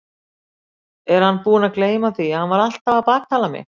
Er hann búinn að gleyma því að hann var alltaf að baktala mig?